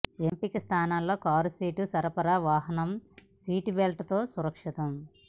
ఎంపిక స్థానం లో కారు సీటు సరఫరా వాహనం సీటు బెల్ట్ తో సురక్షితం